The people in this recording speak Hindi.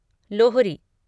लोहरी